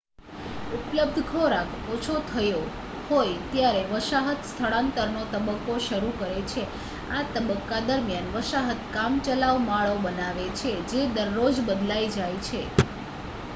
ઉપલબ્ધ ખોરાક ઓછો થયો હોય ત્યારે વસાહત સ્થળાંતરનો તબક્કો શરૂ કરે છે આ તબક્કા દરમિયાન વસાહત કામચલાઉ માળો બનાવે છે જે દરરોજ બદલાઈ જાય